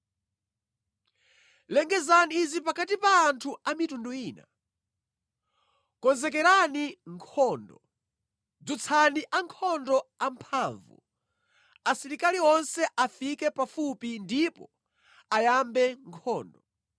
Lengezani izi pakati pa anthu a mitundu ina: Konzekerani nkhondo! Dzutsani ankhondo amphamvu! Asilikali onse afike pafupi ndipo ayambe nkhondo.